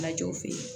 Lajɔw fe yen